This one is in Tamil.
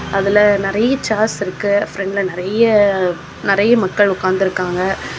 அதுல நெறைய ஷேர்ஸ் இருக்கு. பிரண்ட்ல நிறைய நிறைய மக்கள் உட்கார்ந்திருக்காங்க.